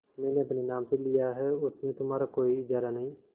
मैंने अपने नाम से लिया है उसमें तुम्हारा कोई इजारा नहीं